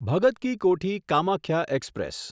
Bhagat Ki Kothi Kamakhya express